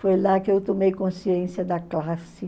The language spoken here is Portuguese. Foi lá que eu tomei consciência da classe.